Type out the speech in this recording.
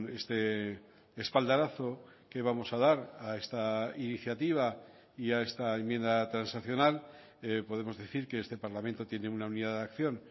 este espaldarazo que vamos a dar a esta iniciativa y a esta enmienda transaccional podemos decir que este parlamento tiene una unidad de acción